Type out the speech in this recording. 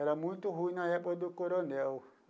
Era muito ruim na época do coronel.